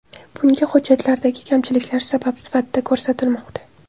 Bunga hujjatlardagi kamchiliklar sabab sifatida ko‘rsatilmoqda.